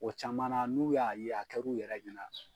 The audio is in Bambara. O caman na n'u y'a ye a kɛr'u yɛrɛ ɲɛna.